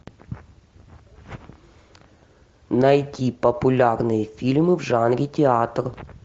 найти популярные фильмы в жанре театр